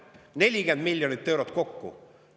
40 miljonit eurot kokku!